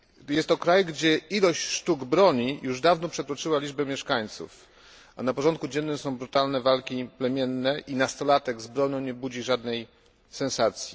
Jest to kraj, gdzie ilość sztuk broni już dawno przekroczyła liczbę mieszkańców, a na porządku dziennym są brutalne walki plemienne i nastolatek z bronią nie budzi żadnej sensacji.